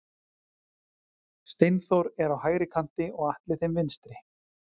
Steinþór er á hægri kanti og Atli þeim vinstri.